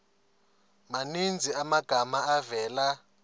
maninzi amagama avela